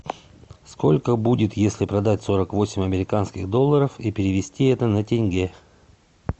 сколько будет если продать сорок восемь американских долларов и перевести это на тенге